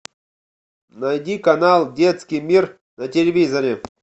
найди канал детский мир на телевизоре